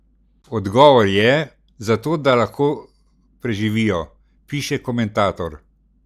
Odgovor je: "Zato, da lahko preživijo," piše komentator.